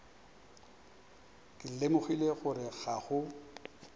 ke lemogile gore ga go